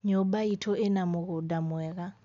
nyúmba itú ina múgúda mwega